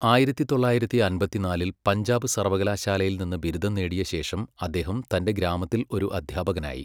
ആയിരത്തി തൊള്ളായിരത്തി അമ്പത്തിനാലിൽ പഞ്ചാബ് സർവ്വകലാശാലയിൽ നിന്ന് ബിരുദം നേടിയ ശേഷം അദ്ദേഹം തൻ്റെ ഗ്രാമത്തിൽ ഒരു അധ്യാപകനായി.